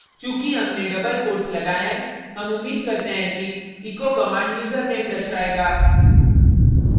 चूँकि हमने double quotes लगाये हैं हम उम्मीद करते हैं कि echo command यूज़रनेम दर्शायेगा